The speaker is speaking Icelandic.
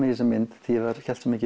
í þessa mynd því ég hélt svo